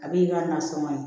A b'i ka nasɔngɔ ye